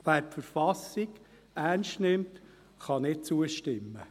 Wer die Verfassung ernst nimmt, kann nicht zustimmen.